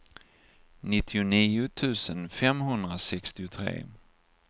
nittionio tusen femhundrasextiotre